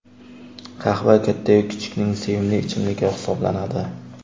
Qahva katta-yu kichikning sevimli ichimligi hisoblanadi.